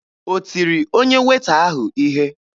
O tiri onye Weeta ahụ ihe?